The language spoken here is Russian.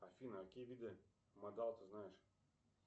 афина какие виды модал ты знаешь